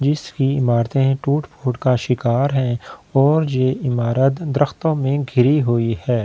जिसकी ईमारतें है टूट-फूट का शिकार है और ये ईमारत द्रराख्‍तों में घिरी हुई है इस--